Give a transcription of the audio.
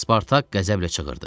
Spartak qəzəblə çığırdı.